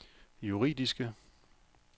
juridiske